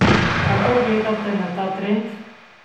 Kako gledate na ta trend?